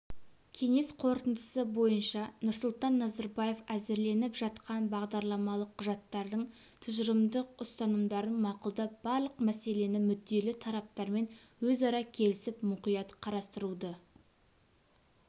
кеңес қорытындысы бойынша нұрсұлтан назарбаев әзірленіп жатқан бағдарламалық құжаттардың тұжырымдық ұстанымдарын мақұлдап барлық мәселені мүдделі тараптармен өзара келісіп мұқият қарастыруды